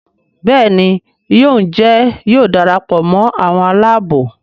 Béèni yóò Njé yóò darapọ̀ mọ àwọn Àlàabò.